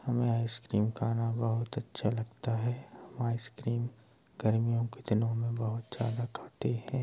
हमें आईसक्रीम खाना बहुत अच्छा लगता है| हम आईसक्रीम गर्मीयों के दिनों में बहुत ज्यादा खाते है ।